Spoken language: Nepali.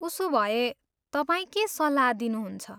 उसोभए, तपाईँ के सल्लाह दिनुहुन्छ?